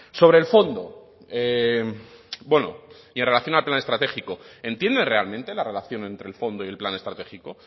sobre el fondo bueno y en relación al plan estratégico entiende realmente la relación entre el fondo y el plan estratégico